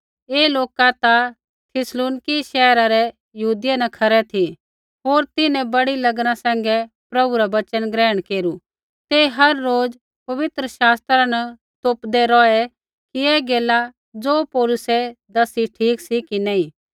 ऐ लोका ता थिस्सलुनीकै रै शैहर यहूदियै न खरै ती होर तिन्हैं बड़ी लगना सैंघै प्रभु रा वचन ग्रहण केरू ते हर रोज़ पवित्र शास्त्रा न तोपदै रौहै कि ऐ गैला ज़ो पौलुसै दसी ठीक सी कि नी